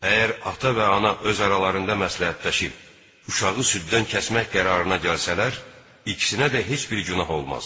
Əgər ata və ana öz aralarında məsləhətləşib uşağı süddən kəsmək qərarına gəlsələr, ikisinə də heç bir günah olmaz.